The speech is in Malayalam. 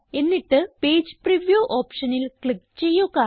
എന്നിട്ട് പേജ് പ്രിവ്യൂ ഓപ്ഷനിൽ ക്ലിക്ക് ചെയ്യുക